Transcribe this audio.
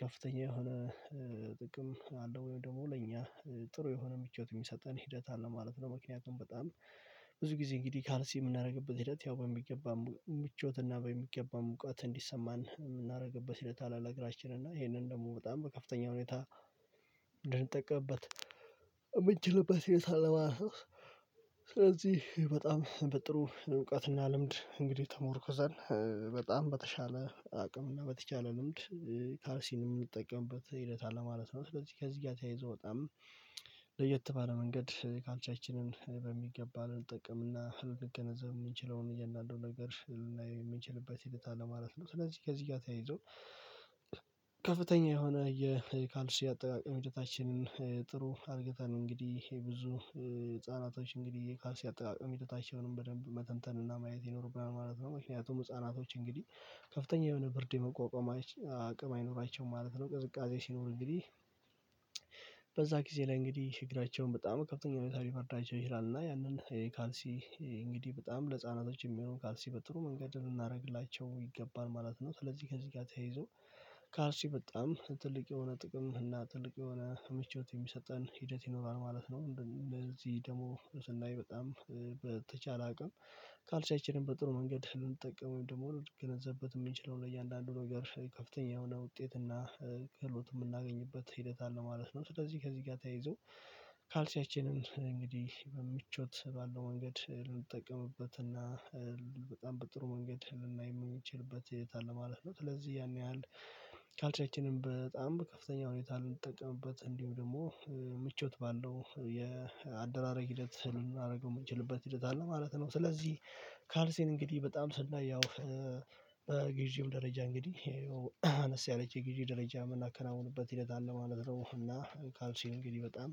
ከፍተኛ የሆነ ጥቅም አለ ወይም ደግሞ ለእኛ ጥሩ የሆነ ምቾት የሚሰጠን ሂደት አለ ማለት ነው። ምክንያቱም በጣም ብዙ ጊዜ እንግዲህ ካልሲ የምናደርግበት ሂደት ያው በሚገባ ምቾት እና በሚገባ ሙቃት እንዲሰማን የምናደርግበት ሂደት አለ ለእግራችን እና ይሄንን ደግሞ በጣም በከፍተኛ ሁኔታ ልንጠቀምበት እምንችልበት ሁኔታ አለ ማለት ነው። ስለዚህ በጣም በጥሩ እውቀትና ልምድ እንግዲህ ተመርኩዘን በጣም በተሻለ አቅም እና በተቻለ ልምድ ካርሲን የምንጠቀምበት ሂደት አለ ማለት ነው። ስለዚህ ከዚህ ጋር ተያይዞ በጣም ለየት ባለ መንገድ ካልሲያችንን በሚገባ ልንጠቀም እና ልገነዘብ የምንችለውን እያንዳንዱን ነገር ልናይ የምንችልበት ሂደት አለ ማለት ነው። ስለዚህ ከዚህ ጋር ተያይዞ ከፍተኛ የሆነ የካልሲ አጠቃቀም ሂደታችንን ጥሩ አድርገናል እንግዲህ ብዙ ህፃናቶች እንግዲህ ካልሲ አጠቃቀም ሂደታቸውንም በደንብ መተንተንና ማየት ይኖርብናል ማለት ነው። ምክንያቱም ህፃናቶች እንግዲህ ከፍተኛ የሆነ ብርድ የመቋቋማች አቅም አይኖራቸውም ማለት ነው። ቅዝቃዜ ሲኖር እንግዲህ በዛ ጊዜ ላይ እንግዲህ እግራቸውን በጣም ከፍተኛ ሁኔታ ሊበርዳቸው ይችላል እና ያንን ካልሲ እንግዲህ በጣም ለህጻናቶች የሚሆን ካልሲ በጥሩ መንገድ ልናደርግላቸው ይገባል ማለት ነው። ስለዚህ ከዚህ ጋር ተያይዞ ካርሲ በጣም ትልቅ የሆነ ጥቅም እና ትልቅ የሆነ ምቾት የሚሰጠን ሂደት ይኖራል ማለት ነው። እንደዚህ ደግሞ ስናይ በጣም በተቻለ አቅም ካልሲያችንን በጥሩ መንገድ ልንጠቀመው ወይም ደግሞ ልንገነዘብበት የምንችለው ለእያንዳንዱ ነገር ከፍተኛ የሆነ ውጤት እና ክህሎት የምናገኝበት ሂደት አለ ማለት ነው። ስለዚህ ከዚህ ጋር ተያይዞ ካልሲያችንን እንግዲህ በሚቾት ባለው መንገድ ልንጠቀምበትና በጣም በጥሩ መንገድ ልናይ የምንችልበት ሁኔታ አለ ማለት ነው። ስለዚህ ያን ያህል ካልሲያችንን በጣም ከፍተኛ ሁኔታ ልንጠቀምበት እንዲሁም ደግሞ ምቾት ባለው የአደራረግ ሂደት ልናደርገው የምንችልበት ሂደት አለ ማለት ነው። ስለዚህ ካልሴን እንግዲህ በጣም ስናይ ያው በግዢው ደረጃ እንግዲህ አነስ ያለች የግዢ ደረጃ የምናከናውንበት ሂደት አለ ማለት ነው። እና ካልሲል እንግዲህ በጣም